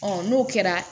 n'o kɛra